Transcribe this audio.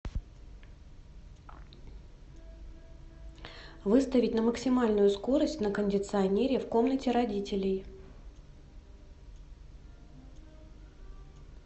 выставить на максимальную скорость на кондиционере в комнате родителей